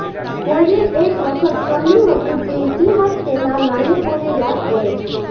કોઈએ એક વખત કહ્યું હતું કે ઇતિહાસ તેના નાયકોને યાદ કરે છે